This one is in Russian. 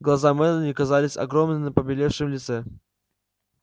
глаза мелани казались огромными на побелевшем лице